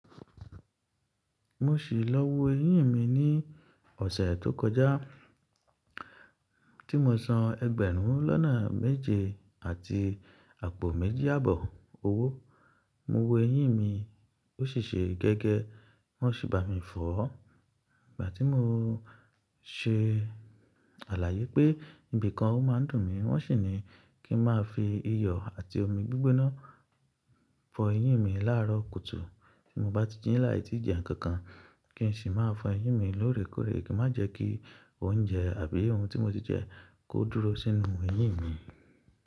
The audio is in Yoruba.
Mo sì lọ wo eyín mi ní ọ̀sẹ̀ tó kọjá tí mo san ẹgbẹ̀rún lọ́nà méje àti àpò méjì àbọ̀ owó. Mo wo eyín mi, ó sì ṣe gẹ́gẹ́, wọ́n sì bá mi fọ̀ ọ́. Ìgbà tí mo se àlàyé pé ibìkan ọ má ń dùn mí, wọ́n sì ní kí n má fi iyọ̀ àti omi gbígbóná fọ eyín mi láàárọ̀ kùtù. Tí mo bá ti jí láì tí jẹ nǹkan kan, kí n sì má fọ eyín mi lóòrèkóòrè kí má jẹ́ kí oúnjẹ àbí ohun tí mo ti jẹ kó dúró sínú eyín mi.